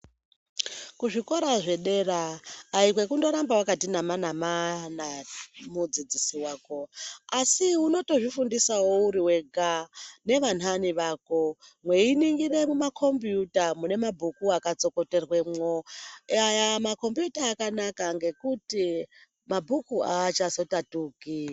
Kuzvikora zvedera haikwekundoramba wakati namanama nemudzidzisi wako, asi unotozvifundisawo uri wega nevanhani vako mweiningire mumakombiyuta mune mabhuku akatsokoterwemo. Makombiyuta akanaka ngekuti mabhuku achazotatuki.